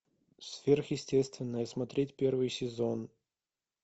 сверхъестественное смотреть первый сезон